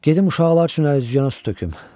Gedim uşaqlar üçün əlüzüyana su töküm.